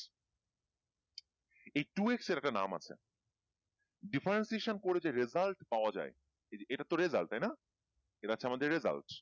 এই two X এর একটা নাম আছে differentiation করে যে result পাওয়া যায় এটা তো result তাইনা এটা হচ্ছে আমাদের result